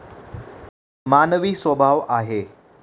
मानवी स्वभाव आहे.